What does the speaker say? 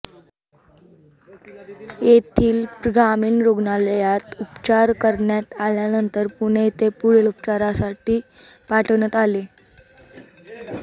येथील ग्रामीण रुग्णालयात उपचार करण्यात आल्यानंतर पुणे येथे पुढील उपचारासाठी पाठवण्यात आले